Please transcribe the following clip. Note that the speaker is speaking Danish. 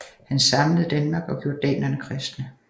Han samlede Danmark og gjorde danerne kristne